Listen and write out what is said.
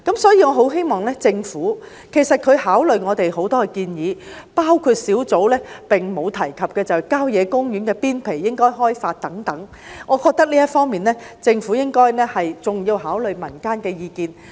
所以，我很希望政府在考慮我們的很多建議時，包括土地供應專責小組並無提及的郊野公園邊陲應加以開發等方面，還要考慮民間的意見。